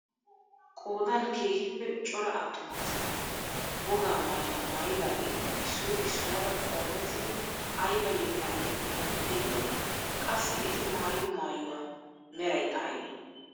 Qoodan keehippe cora attuma asati wogaa maayuwaa maayidaageti issoy issuwaara qoomettidi aybaa yeettaa yeexxiidi de'iyoonaa? qassi eti maayido maayuwaa meraykka aybee?